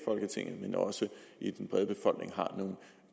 folketinget men også i den brede befolkning har nogle